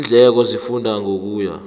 iindleko zihluka ngokuya